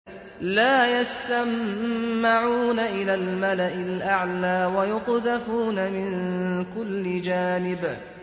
لَّا يَسَّمَّعُونَ إِلَى الْمَلَإِ الْأَعْلَىٰ وَيُقْذَفُونَ مِن كُلِّ جَانِبٍ